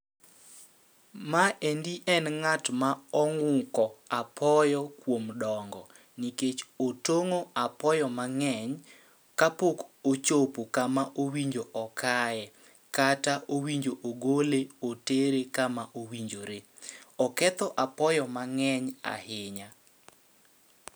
Ma endi en ng'at ma ong'uko apoyo kuom dongo, nikech otong'o apoyo ma ng'eny ka pok ochopo kama owinjo okaye. Kata owinjo ogole otere kama owinjore, oketho apoyo ma ng'eny ahinya.